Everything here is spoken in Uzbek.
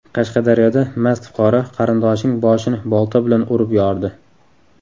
Qashqadaryoda mast fuqaro qarindoshining boshini bolta bilan urib yordi.